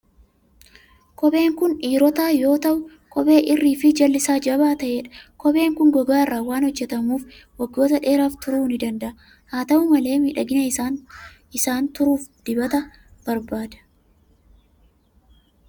Kopheen kun dhiirotaa yoo ta'u, kophee irrii fi jalli isaa jabaa ta'edha. Kopheen kun gogaa irraa waan hojjetamuuf, waggoota dheeraaf turuu ni danda'a. Haa ta'u malee, miidhagina isaan turuuf dibata barbaada.